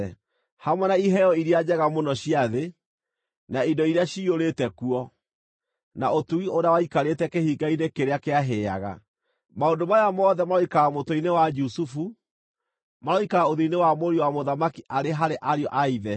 hamwe na iheo iria njega mũno cia thĩ, na indo iria ciyũrĩte kuo, na ũtugi ũrĩa waikarĩte kĩhinga-inĩ kĩrĩa kĩahĩaga. Maũndũ maya mothe maroikara mũtwe-inĩ wa Jusufu, maroikara ũthiũ-inĩ wa mũriũ wa mũthamaki arĩ harĩ ariũ a ithe.